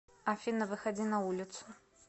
афина выходи на улицу